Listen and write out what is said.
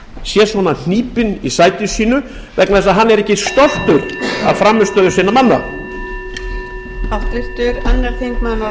sé svona hnípinn í sæti sínu vegna þess að hann er ekki stoltur af frammistöðu sinna manna